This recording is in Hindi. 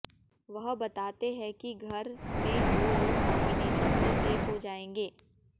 वह बताते हैं कि घर में दो लोग नॉमिनेशन से सेफ हो जाएंगे